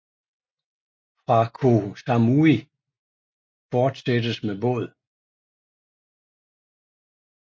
Fra Koh Samui fortsættes med båd